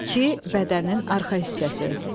İki, bədənin arxa hissəsi.